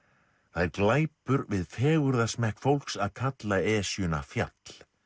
það er glæpur við fegurðarsmekk fólks að kalla Esjuna fjall